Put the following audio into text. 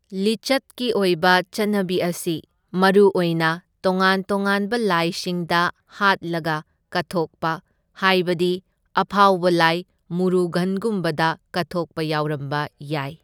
ꯂꯤꯆꯠꯀꯤ ꯑꯣꯏꯕ ꯆꯠꯅꯕꯤ ꯑꯁꯤ ꯃꯔꯨꯑꯣꯏꯅ ꯇꯣꯉꯥꯟ ꯇꯣꯉꯥꯟꯕ ꯂꯥꯏꯁꯤꯡꯗ ꯍꯥꯠꯂꯒ ꯀꯠꯊꯣꯛꯄ, ꯍꯥꯏꯕꯗꯤ ꯑꯐꯥꯎꯕ ꯂꯥꯏ ꯃꯨꯔꯨꯒꯟꯒꯨꯝꯕꯗ ꯀꯠꯊꯣꯛꯄ ꯌꯥꯎꯔꯝꯕ ꯌꯥꯏ꯫